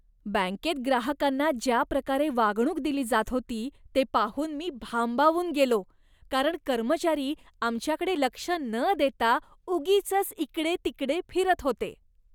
बँकेत ग्राहकांना ज्या प्रकारे वागणूक दिली जात होती ते पाहून मी भांबावून गेलो, कारण कर्मचारी आमच्याकडे लक्ष न देता उगीचच इकडे तिकडे फिरत होते.